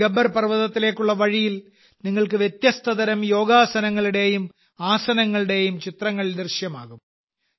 ഇവിടെ ഗബ്ബർ പർവതത്തിലേക്കുള്ള വഴിയിൽ നിങ്ങൾക്ക് വ്യത്യസ്തതരം യോഗാസനങ്ങളുടെയും ആസനങ്ങളുടെയും ചിത്രങ്ങൾ ദൃശ്യമാകും